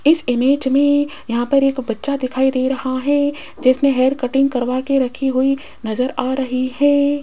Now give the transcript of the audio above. इस इमेज में यहां पर एक बच्चा दिखाई दे रहा है जिसने हेयर कटिंग करवा के रखी हुई नजर आ रही है।